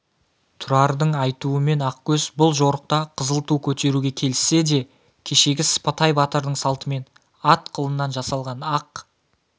тұрардың айтуымен ақкөз бұл жорықта қызыл ту көтеруге келіссе де кешегі сыпатай батырдың салтымен ат қылынан жасалған ақ